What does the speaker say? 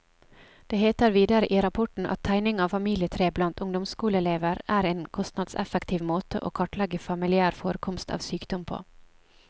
Det heter videre i rapporten at tegning av familietre blant ungdomsskoleelever en en kostnadseffektiv måte å kartlegge familiær forekomst av sykdom på.